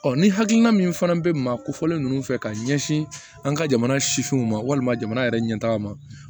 ni hakilina min fana bɛ maa kofɔ nunnu fɛ ka ɲɛsin an ka jamana sifinw ma walima jamana yɛrɛ ɲɛtaga ma